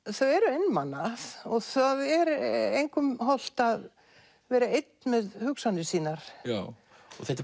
þau eru einmana og það er engum hollt að vera einn með hugsanir sínar þetta er